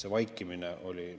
See vaikimine oli …